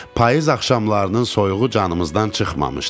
Payız axşamlarının soyuğu canımızdan çıxmamışdı.